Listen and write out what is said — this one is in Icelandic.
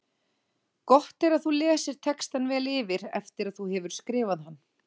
Gott er að þú lesir textann vel yfir eftir að þú hefur skrifað hann.